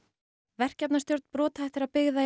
verkefnastjórn brothættra byggða í